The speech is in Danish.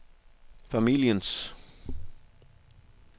familiens